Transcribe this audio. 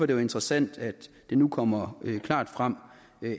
det jo interessant at det nu kommer klart frem